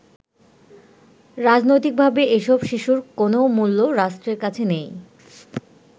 রাজনৈতিকভাবে এসব শিশুর কোনও মূল্য রাষ্ট্রের কাছে নেই।